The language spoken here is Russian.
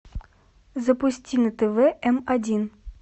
запусти на тв м один